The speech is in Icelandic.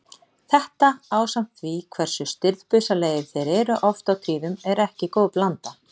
Þetta ásamt því hversu stirðbusalegir þeir eru oft á tíðum er ekki góð blanda.